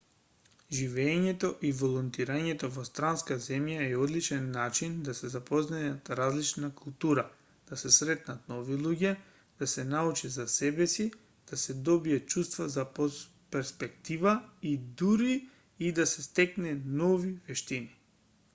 живеењето и волонтирањето во странска земја е одличен начин да се запознае различна култура да се сретнат нови луѓе да се научи за себеси да се добие чувство за перспектива и дури и да се стекнат нови вештини